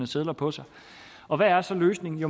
sedler på sig og hvad er så løsningen